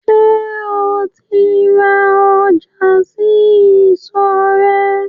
Sẹ́ o ti ń ra ọjà sí ìsọ̀ rẹ̀?